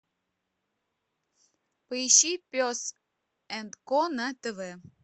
поищи пес энд ко на тв